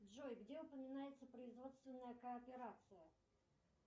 джой где упоминается производственная кооперация